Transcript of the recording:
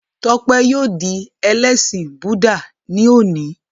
Tọ́pẹ́ yóò di ẹlẹ́sìn Búdà ní òní.